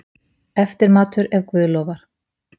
Eftirmatur, ef guð lofar.